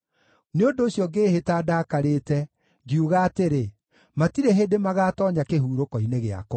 Nĩ ũndũ ũcio ngĩĩhĩta ndakarĩte, ngiuga atĩrĩ, “Matirĩ hĩndĩ magaatoonya kĩhurũko-inĩ gĩakwa.”